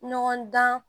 Ɲɔgɔn dan